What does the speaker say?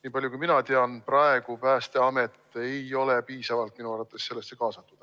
Niipalju kui mina tean, praegu Päästeamet ei ole piisavalt sellesse kaasatud.